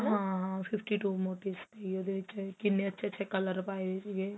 ਹਾਂ fifty two motive ਉਹਦੇ ਵਿੱਚ ਕਿੰਨੇ ਅੱਛੇ ਅੱਛੇ color ਪਾਏ ਹੋਏ ਸੀਗੇ